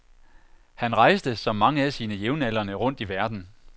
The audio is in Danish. Han rejste som mange af sine jævnaldrende rundt i verden.